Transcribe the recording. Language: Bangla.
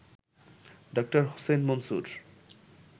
ড. হোসেন মনসুর